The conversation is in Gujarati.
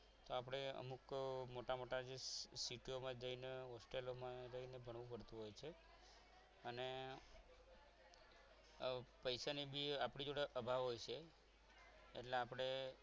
તો આપણે અમુક મોટા મોટા જે city ઓમાં જઈને hostel માં રહીને ભણવું પડતું હોય છે અને પૈસાની જે આપણી જોડે અભાવ હોય છે એટલે આપણે